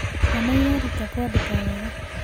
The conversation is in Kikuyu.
Ciana ireruta kwandĩka wega.